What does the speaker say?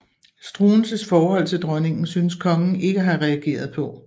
Struensees forhold til dronningen synes kongen ikke at have reageret på